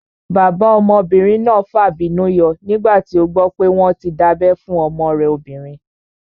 Bàbá ọmọbìnrin náà fàbínú yọ nígbà tí ó gbọ́ pé wọ́n tí dábẹ́ fún ọmọ rẹ̀ obìnrin